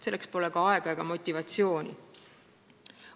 Selleks pole ka aega ega motivatsiooni.